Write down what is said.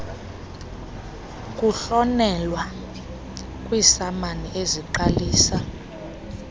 kuhlonyelwa kwiisamani eziqalisa